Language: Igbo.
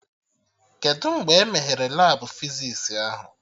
Kedụ mgbe e meghere Labụ fizis ahụ?